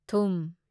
ꯊꯨꯝ